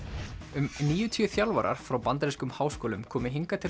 um níutíu þjálfarar frá bandarískum háskólum komu hingað til